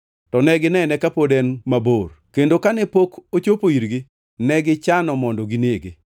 To ne ginene kapod en mabor, kendo kane pok ochopo irgi, negichano mondo ginege.